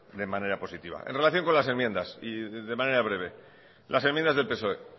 de manera positiva en relación con las enmiendas y de manera breve las enmiendas del psoe